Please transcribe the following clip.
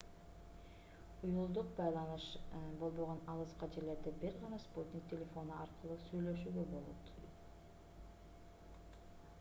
уюлдук байланыш болбогон алыскы жерлерде бир гана спутник телефону аркылуу сүйлөшүүгө болот